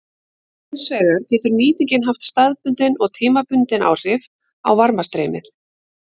Hins vegar getur nýtingin haft staðbundin og tímabundin áhrif á varmastreymið.